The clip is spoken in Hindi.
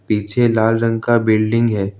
पीछे लाल रंग का बिल्डिंग है।